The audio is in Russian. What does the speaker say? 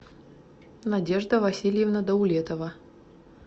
надежда васильевна даулетова